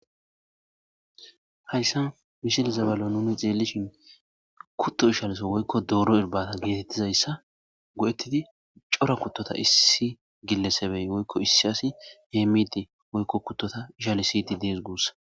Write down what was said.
Hayssan misilezan bolla nuuni xeellishin kutto ishaliso woykko dooro irbbbaata geetettizayssa go7ettidi cora kuttota issi gillesebey woykko issi asi heemmidi woykko kuttota ishalisiiddi dees guussa.